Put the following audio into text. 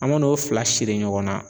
An ma na o fila siri ɲɔgɔn na